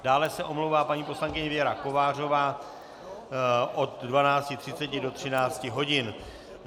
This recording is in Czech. Dále se omlouvá paní poslankyně Věra Kovářová od 12.30 do 13 hodin.